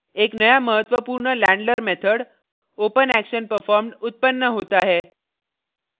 एक नया महत्वपूर्ण handler method openactionperformed उत्पन्न होता है